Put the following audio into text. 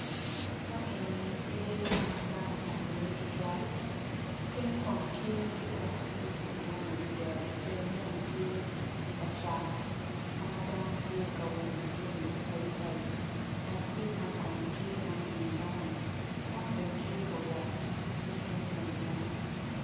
Ma enini tye ka ma dano opong iye tutwal genyo kono tye ki takci madwong adida itenge bene tye kacat ka dano tye kawilo jami mapadi padi takci man kono tye ma otingo dano dano bene tye ka wot ki genyo madwong